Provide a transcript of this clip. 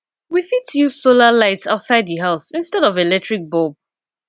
we fit use solar lights outside di house instead of electric bulb